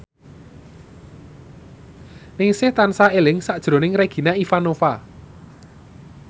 Ningsih tansah eling sakjroning Regina Ivanova